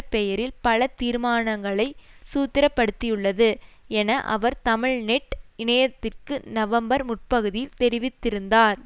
பெயரில் பல தீர்மானங்களை சூத்திரப்படுத்தியுள்ளது என அவர் தமிழ்நெட் இணையத்திற்கு நவம்பர் முற்பகுதி தெரிவித்திருந்தார்